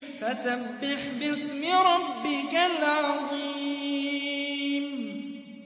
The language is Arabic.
فَسَبِّحْ بِاسْمِ رَبِّكَ الْعَظِيمِ